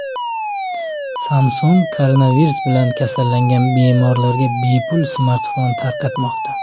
Samsung koronavirus bilan kasallangan bemorlarga bepul smartfon tarqatmoqda.